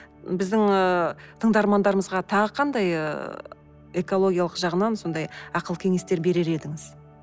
біздің ыыы тыңдармандарымызға тағы қандай ыыы экологиялық жағынан сондай ақыл кеңестер берер едіңіз